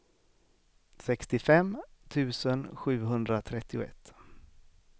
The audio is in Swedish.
sextiofem tusen sjuhundratrettioett